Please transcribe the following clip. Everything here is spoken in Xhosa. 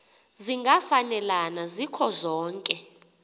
zingafanelana zikho zonke